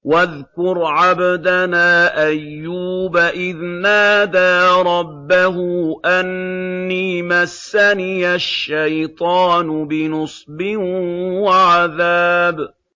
وَاذْكُرْ عَبْدَنَا أَيُّوبَ إِذْ نَادَىٰ رَبَّهُ أَنِّي مَسَّنِيَ الشَّيْطَانُ بِنُصْبٍ وَعَذَابٍ